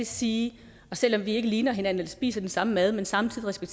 sige selv om vi ikke ligner hinanden eller spiser den samme mad men samtidig skal